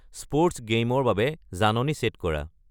sports গেইমৰ বাবে জাননী ছেট কৰা